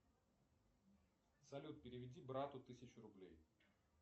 салют переведи брату тысячу рублей